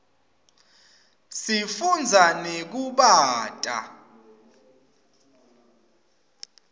sifunza nekubata